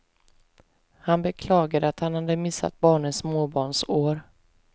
Han beklagade att han hade missat barnens småbarnsår.